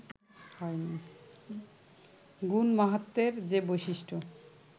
গুণ-মাহাত্ম্যের যে বৈশিষ্ট্য